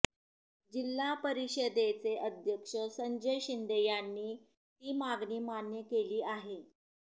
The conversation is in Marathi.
जिल्हा परिषदेचे अध्यक्ष संजय शिंदे यांनी ती मागणी मान्य केली आहे